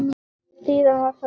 Síðan var það búið.